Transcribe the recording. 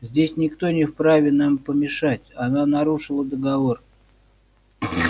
здесь никто не вправе нам помешать она нарушила договор